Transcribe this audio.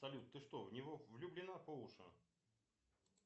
салют ты что в него влюблена по уши